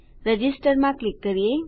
register માં click કરીએ